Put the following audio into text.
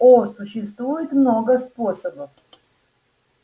о существует много способов